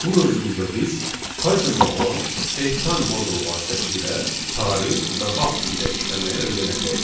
Bu mövzumuzda biz Python-da olan datetime modulu vasitəsilə tarix və vaxt ilə işləməyi öyrənəcəyik.